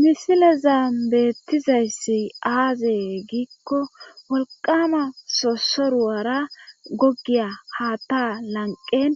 Misilezam beettizayssi aazee giikko wolqama sosoruwara gogiya haatta lanqen